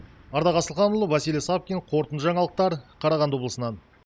ардақ асылханұлы василий савкин қорытынды жаңалықтар қарағанды облысынан